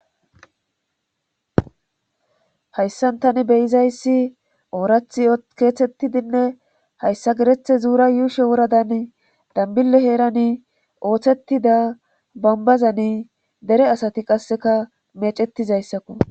hayssan tani beyizayssi oorathi keeththettidinne hayssa gerethe zuura yuushe woradan dambille heerani ooththettida bambazani dere asati qasseka meecettizayssakku